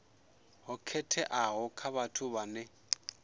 ho khetheaho kha vhathu vhane